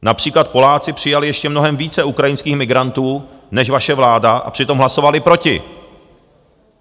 Například Poláci přijali ještě mnohem více ukrajinských migrantů než vaše vláda a přitom hlasovali proti!